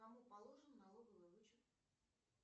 кому положен налоговый вычет